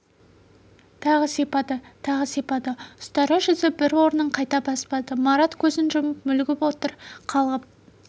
тағы сипады тағы сипады ұстара жүзі бір орнын қайта баспады марат көзін жұмып мүлгіп отыр қалғып